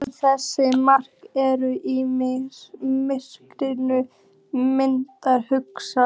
En þessir menn eru í miklum minnihluta.